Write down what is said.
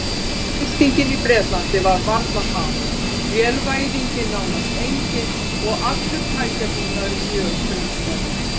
Iðnbyltingin í Bretlandi var varla hafin, vélvæðing nánast engin og allur tækjabúnaður mjög frumstæður.